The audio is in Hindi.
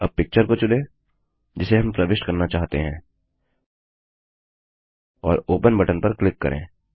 अब पिक्चर को चुनें जिसे हम प्रविष्ट करना चाहते हैं और ओपन बटन पर क्लिक करें